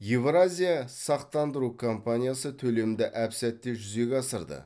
евразия сақтандыру компаниясы төлемді әп сәтте жүзеге асырды